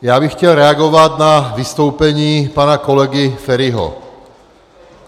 Já bych chtěl reagovat na vystoupení pana kolegy Feriho.